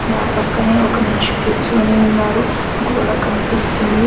నా పక్కనే ఒక మనిషి కూర్చోని ఉన్నారు గోడ కనిపిస్తుంది.